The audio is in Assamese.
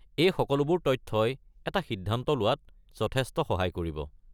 এই সকলোবোৰ তথ্যই এটা সিদ্ধান্ত লোৱাত যথেষ্ট সহায় কৰিব।